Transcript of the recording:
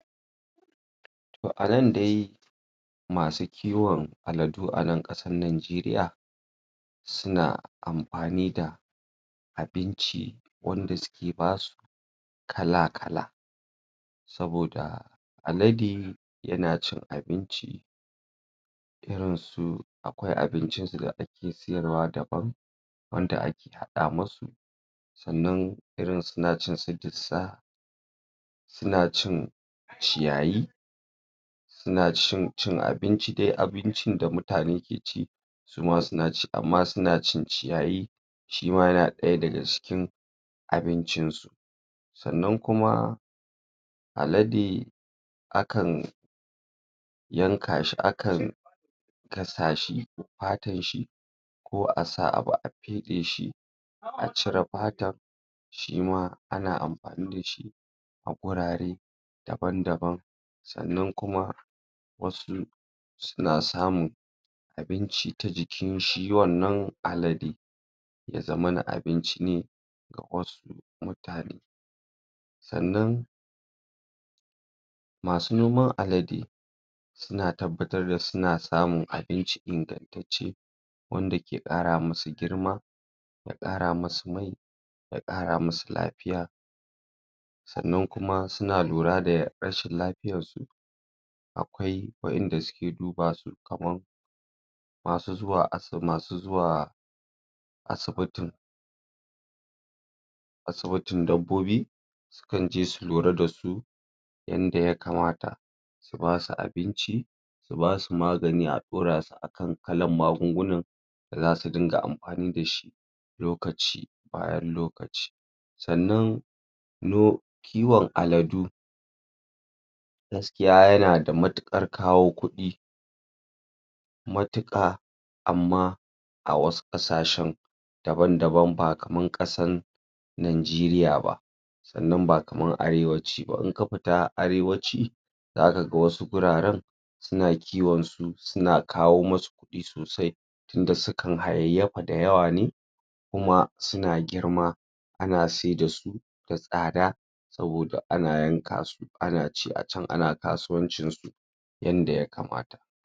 a nan dai masu kiwon aladu a nan kasar nageriya suna amfani da abinci wanda suke basu kala kala saboda alade yana cin abinci irin su akwai abincin su da ake sayarwa da ban wanda ake hada masu sannan suna cin irin su dusa suna cin ciyayi suna cin abinci dai abincin da mutane ke ci suma suna ci suna cin ciyayi sima yana daya daga cikin abincin su sannan kuma alade akan yanka shi akan gasa shi fatan shi ko asa abu a fede shi a cire fatan shima ana amfani dashi a gurare daban daban sannan kuma wasu suna samun abinci ta jikin shi wannan alade ya zamana abinci ne ga wasu mutane sannan masu noman alade suna tabbatar da suna samun abinci ingantacce wanda ke kara masu girma ya kara masu mai ya kara masu lafiya sannan kuma suna lura da rashin lafiyar su akwai wadanda suke dubasu kamar masu zuwa asu masu zuwa asibiti asibitin dabbobi sukanje su lura dasu yanda ya kamata su basu abinci su basu magani a dora su akan kalan magunguna zasu dinga amfani dashi lokaci bayan lokaci sannan no kiwon aladu gaskiya yana da matukar kawo kudi matuka amma a wasu kasashen daban daban ba kamar kasan nageriya ba sannan ba kamar arewaci ba inka fita arewaci zaka ga wasu wuraren suna kiwon su suna kawo masu kudi sosai inda su kan hayayyafa da yawa ne kuma suna girma ana saida su da tsada saboda ana yanka su ana ci acan ana kasuwancin su yanda ya kamata